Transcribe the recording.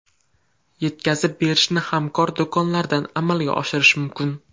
Yetkazib berishni hamkor do‘konlardan amalga oshirish mumkin.